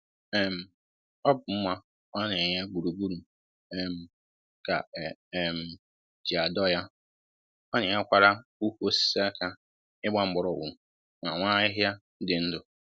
um Ọ bụ mma ọ na-enye gburugburu um ka e um ji adọ ya. Ọ na-enyekwara ukwu osisi aka ịgba mgbọrọgwụ ma nwee ahịhịa dị ndụ